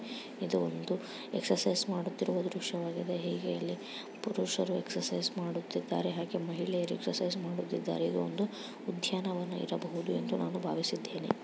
ಇದು ಒಂದು ಎಕ್ಸೆರ್ಸನ್ಸ್ ಮಾಡುತ್ತಿರುವ ದ್ರಶ್ಯವಾಗಿದೆ ಹೀಗೆ ಇಲ್ಲಿ ಪುರುಷರು ಎಕ್ಸೆರ್ಸನ್ಸ್ ಮಾಡುತ್ತಿದ್ದಾರೆ ಹಾಗೆ ಮಹಿಳೆಯರು ಎಕ್ಸೆರ್ಸನ್ಸ್ ಮಾಡುತ್ತಿದ್ದಾರೆ ಹಾಗೆ ಇದು ಒಂದು ಉದ್ಯಾನವನ ಇರಬಹುದು ಎಂದು ನಾನು ಭಾವಿಸುತ್ತೇನೆ.